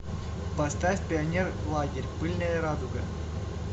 поставь пионерлагерь пыльная радуга